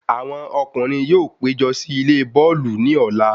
Àwọn ọkùnrin yóò pé jọ sí ilé bọ́ọ̀lù ní Ọ̀la